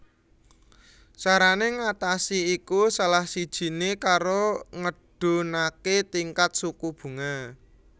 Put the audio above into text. Carané ngatasi iku salah sijiné karo ngedhunaké tingkat suku bunga